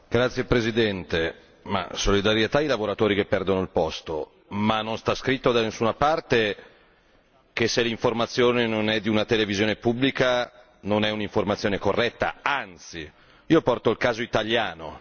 Signor Presidente, onorevoli colleghi, ma, solidarietà ai lavoratori che perdono il posto, ma non sta scritto da nessuna parte che se l'informazione non è di una televisione pubblica non è un'informazione corretta anzi, io porto il caso italiano.